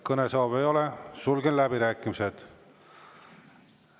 Kõnesoove ei ole, sulgen läbirääkimised.